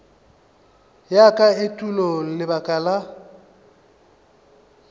ya ka etulo lebaka la